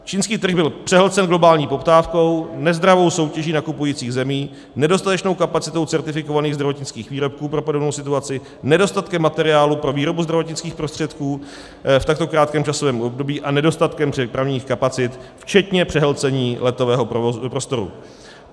Čínský trh byl přehlcen globální poptávkou, nezdravou soutěží nakupujících zemí, nedostatečnou kapacitou certifikovaných zdravotnických výrobků pro podobnou situaci, nedostatkem materiálu pro výrobu zdravotnických prostředků v takto krátkém časovém období a nedostatkem přepravních kapacit včetně přehlcení letového prostoru.